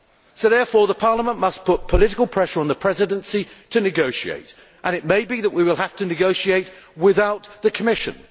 Parliament must therefore put political pressure on the Presidency to negotiate and it may be that we will have to negotiate without the Commission.